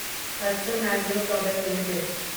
Hatsun agro product limited